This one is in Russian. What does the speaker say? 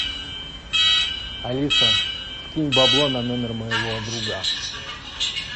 алиса скинь бабло на номер моего друга